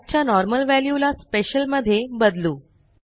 flag च्या normal value ला special मध्ये बदलू